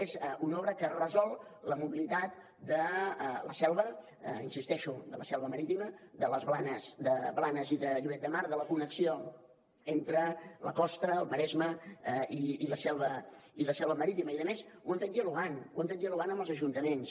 és una obra que resol la mobilitat de la selva hi insisteixo de la selva marítima de blanes i de lloret de mar de la connexió entre la costa el maresme i la selva marítima i a més ho hem fet dialogant ho hem fet dialogant amb els ajuntaments